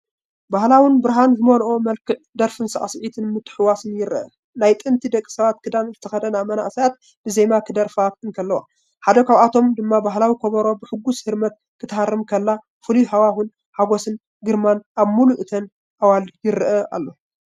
ባህላውን ብርሃን ዝመልኦን መልክዕ ደርፍን ሳዕስዒትን ምትሕውዋስ ይረአ። ናይ ጥንቲ ደቀባት ክዳን ዝተኸድና መንእሰያት ብዜማ ክደርፋ እንከለዋ፡ ሓደ ካብኣቶም ድማ ባህላዊ ከበሮ ብሕጉስ ህርመት ክትሃርም ከላ። ፍሉይ ሃዋህው ሓጐስን ግርማን ኣብ ምሉእ እተን ኣዋልድ ይረአይ ኣሎ።